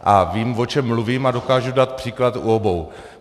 A vím, o čem mluvím, a dokážu dát příklad u obou.